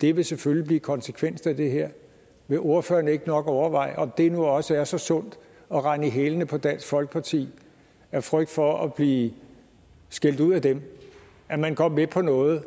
det vil selvfølgelig blive konsekvensen af det her vil ordføreren ikke nok overveje om det nu også er så sundt at rende i hælene på dansk folkeparti af frygt for at blive skældt ud af dem at man går med på noget